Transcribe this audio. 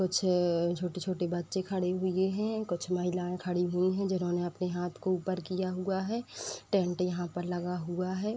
कुछ अ छोटे- छोटे बच्चे खड़े हुए हैं। कुछ महिलाएं खड़ी हुई हैं। जिन्होंने अपने हाथ को ऊपर किया हुआ है। टेंट यहाँ पर लगा हुआ है।